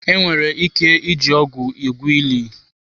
Enwere ike iji ọgụ egwu ili.